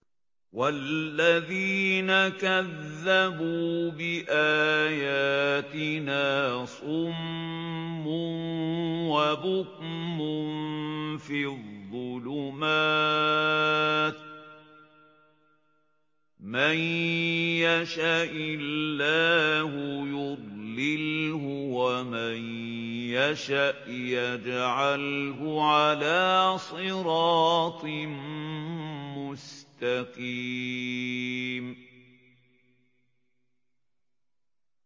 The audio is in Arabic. وَالَّذِينَ كَذَّبُوا بِآيَاتِنَا صُمٌّ وَبُكْمٌ فِي الظُّلُمَاتِ ۗ مَن يَشَإِ اللَّهُ يُضْلِلْهُ وَمَن يَشَأْ يَجْعَلْهُ عَلَىٰ صِرَاطٍ مُّسْتَقِيمٍ